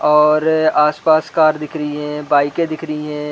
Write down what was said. और आसपास कार दिख रही है बाइकें दिख रही है।